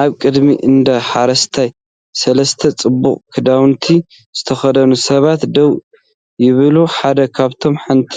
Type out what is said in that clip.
ኣብ ቅድሚ እንዳ ሓረስታይ ሰለስተ ፅቡቕ ክዳውንቲ ዝተኸድኑ ሰባት ደው ይብሉ። ሓደ ካብኣቶም ሓንቲ